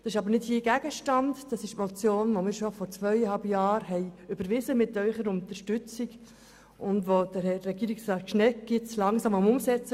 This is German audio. Das ist aber nicht jetzt Gegenstand, sondern Inhalt der Motion, die wir mit Ihrer Unterstützung bereits vor zweieinhalb Jahren überwiesen haben und bei der Herr Regierungsrat Schnegg nun dabei ist, sie langsam umzusetzen.